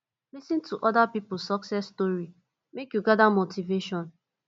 lis ten to other pipo success story make you gather motivation